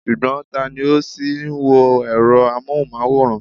Ṣùgbọ́n, tani ó ṣì ń wo èrọ amóhùnmáwòrán?